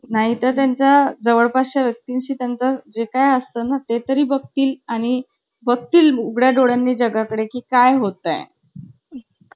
नाही तर त्यांच्या जवळच्या व्यक्तींशी त्यांचा जे काही असतं ना ते तरी बघ तील आणि बस्ती उघडय़ा डोळ्यांनी जगाकडे की काय होता हे